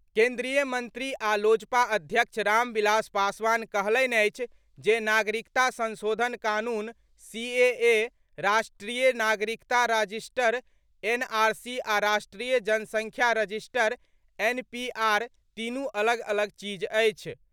केन्द्रीय मंत्री आ लोजपा अध्यक्ष रामविलास पासवान कहलनि अछि जे नागरिकता संशोधन कानून सीएए, राष्ट्रीय नागरिकता राजिस्टर एनआरसी आ राष्ट्रीय जनसङ्ख्या रजिस्टर एनपीआर तीनू अलग अलग चीज अछि।